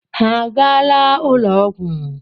Ha agaala ụlọọgwụ?